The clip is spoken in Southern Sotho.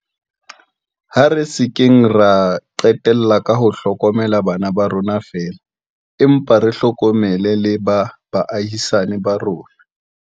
Ha re se keng ra qetella ka ho hlokomela bana ba rona feela, empa re hlokomele le ba baahisani ba rona.